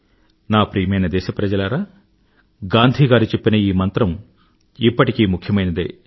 నా ప్రియమైన దేశప్రజలారా గాంధీ గారు చెప్పిన ఈ మంత్రం ఇప్పటికీ ముఖ్యమైనదే